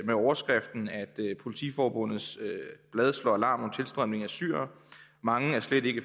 overskriften politiforbundets blad slår alarm om tilstrømning af syrere mange er slet ikke